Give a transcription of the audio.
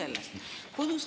Alustame sellest.